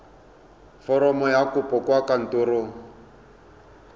foromo ya kopo kwa kantorong